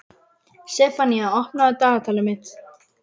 Sefanía, opnaðu dagatalið mitt.